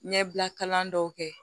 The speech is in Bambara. Ɲɛbila kalan dɔw kɛ